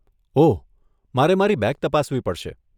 ઓહ, મારે મારી બેગ તપાસવી પડશે.